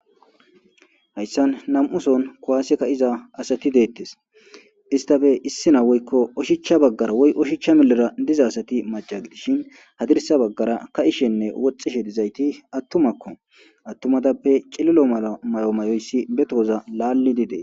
Hayssan nam7uson kwwaaseka iza asati deettes istafe issina woykko oshichcha baggara woy oshicha milera diza asati maca gidishin hadirsa baggara ka ishenne woxxishe dizayti attumakko attumatappe cililo mala may7o mayoyssi be tooza laalli didee.